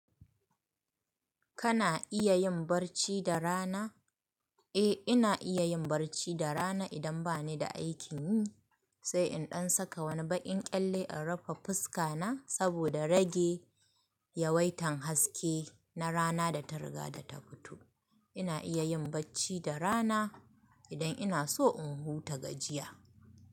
Kana iya yin barci da rana? Eh, ina iya yin barci da rana idan bani da aikin yi. Sai in ɗan saka wani baƙin kyalle in rufe fuska na saboda rage yawaitan haske na rana da ta riga da ta fito. Ina iya yin bacci da rana idan ina so in huta gajiya.